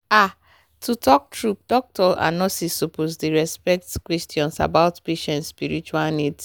ah to talk true doctors and nurses suppose dey ask respectful questions about patient spiritual needs.